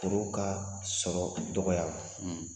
ka sɔrɔ, o dɔgɔya.